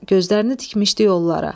Gözlərini tikmişdi yollara.